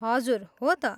हजुर, हो त।